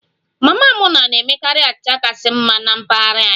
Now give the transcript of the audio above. Mama Muna na-emekarị achịcha kachasị mma na mpaghara anyị